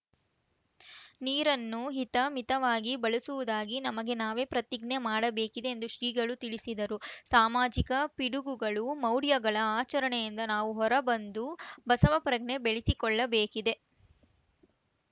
ನೀರನ್ನು ಹಿತ ಮಿತವಾಗಿ ಬಳಸುವುದಾಗಿ ನಮಗೆ ನಾವೇ ಪ್ರತಿಜ್ಞೆ ಮಾಡಬೇಕಿದೆ ಎಂದು ಶ್ರೀಗಳು ತಿಳಿಸಿದರು ಸಾಮಾಜಿಕ ಪಿಡುಗುಗಳು ಮೌಢ್ಯಗಳ ಆಚರಣೆಯಿಂದ ನಾವು ಹೊರ ಬಂದು ಬಸವ ಪ್ರಜ್ಞೆ ಬೆಳೆಸಿಕೊಳ್ಳಬೇಕಿದೆ